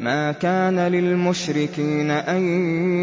مَا كَانَ لِلْمُشْرِكِينَ أَن